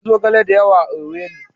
Akwai zogala da yawa a Owerri